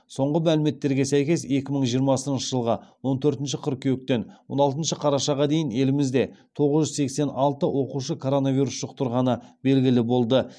соңғы мәліметтерге сәйкес екі мың жиырмасыншы жылғы он төртінші қыркүйектен он алтыншы қарашаға дейін елімізде тоғыз жүз сексен алты оқушы коронавирус жұқтырғаны белгілі болды